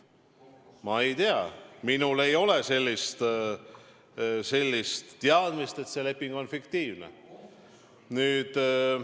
Ma ei tea, minul ei ole sellist teadmist, et see leping on fiktiivne.